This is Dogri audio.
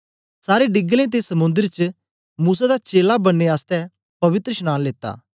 सारें डीगलें ते समुंदर च मूसा दा चेला बननें आसतै पवित्रशनांन लीता